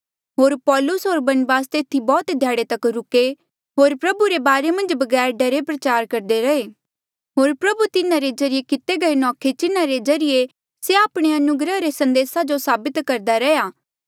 होर पाैलुस होर बरनबास तेथी बौह्त ध्याड़े तक रुके होर प्रभु रे बारे मन्झ बगैर डरे प्रचार करदे रैहे होर प्रभु तिन्हारे ज्रीए किते गये नौखे चिन्ह रे ज्रीए से आपणे अनुग्रह रे संदेसा जो साबित करदा रेहा